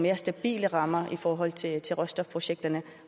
mere stabile rammer i forhold til til råstofprojekterne